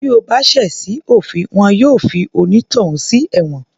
Bí o bá ṣẹ̀ sí òfin wọn yóò fi onítọ̀hún sí ẹ̀wọ̀n